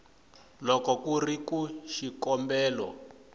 loko ku ri ku xikombelo